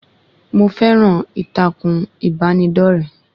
Mo fẹ́ran ìtàkùn ìbánidọ́rẹ̀ẹ́